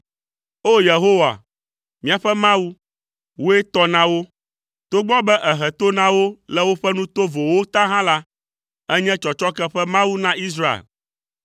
O! Yehowa, míaƒe Mawu, wòe tɔ na wo; togbɔ be èhe to na wo le woƒe nu tovowo ta hã la, ènye tsɔtsɔke ƒe Mawu na Israel.